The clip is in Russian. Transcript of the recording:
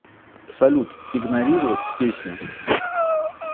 салют игнорировать песню